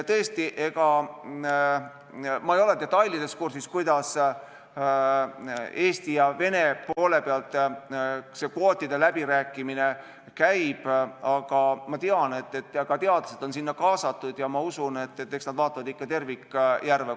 Tõesti, ma ei ole detailides kursis, kuidas Eesti ja Vene poole vahel see kvootide läbirääkimine käib, aga ma tean, et ka teadlased on sinna kaasatud, ja usun, et eks nad vaatavad ikka tervikjärve.